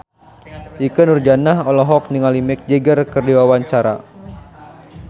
Ikke Nurjanah olohok ningali Mick Jagger keur diwawancara